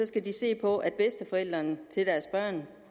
skal se på at bedsteforældrene til deres børn